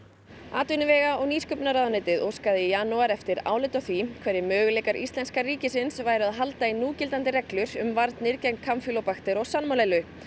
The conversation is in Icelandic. atvinnuvega og nýsköpunarráðuneytið óskaði í janúar eftir áliti á því hverjir möguleikar íslenska ríkisins væru að halda í núgildandi reglur um varnir gegn kampýlóbakter og salmonellu